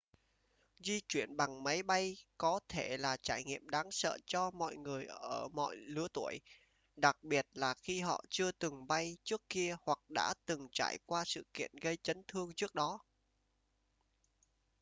di chuyển bằng máy bay có thể là trải nghiệm đáng sợ cho mọi người ở mọi lứa tuổi đặc biệt là khi họ chưa từng bay trước kia hoặc đã từng trải qua sự kiện gây chấn thương trước đó